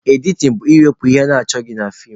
Editin bụ ịwepụ ihe achọghị na feem